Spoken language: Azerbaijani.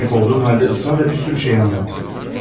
Kəndisini qovduğum halda israrla bir sürü şey anlattı.